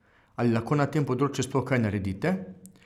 Ali lahko na tem področju sploh kaj naredite?